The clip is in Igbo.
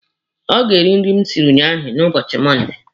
Ọ ga-eri nri m siri ụnyaahụ n'ubochi Mọnde.